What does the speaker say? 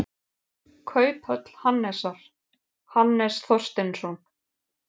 Kauphöll Hannesar, Hannes Þorsteinsson.